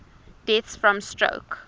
deaths from stroke